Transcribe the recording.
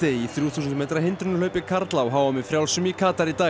í þrjú þúsund metra hindrunarhlaupi karla á h m í frjálsum í Katar í dag